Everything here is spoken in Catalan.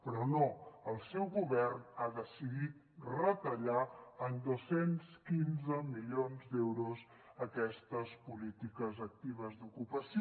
però no el seu govern ha decidit retallar en dos cents i quinze milions d’euros aquestes polítiques actives d’ocupació